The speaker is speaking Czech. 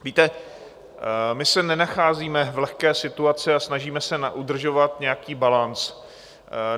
Víte, my se nenacházíme v lehké situaci a snažíme se udržovat nějaký balanc.